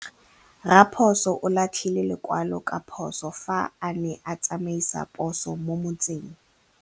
Raposo o latlhie lekwalô ka phosô fa a ne a tsamaisa poso mo motseng.